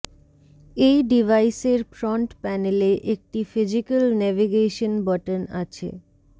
এই ডিভাইসের ফ্রন্ট প্যানেলে একটি ফিজিকাল নেগেভেশন বটন আছে